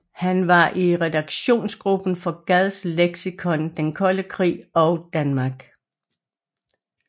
Han var i redaktionsgruppen for Gads leksikon Den Kolde Krig og Danmark